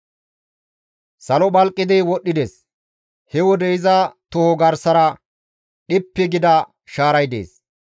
Salo phalqidi wodhdhides; he wode iza toho garsara dhippi gida shaaray dees.